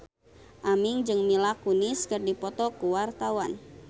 Aming jeung Mila Kunis keur dipoto ku wartawan